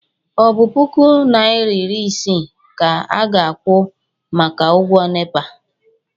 ọ bụ puku naịra iri isii ka a ga-akwụ maka ụgwọ nepa?